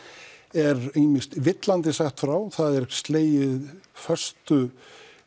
er ýmist villandi sagt frá það er slegið föstu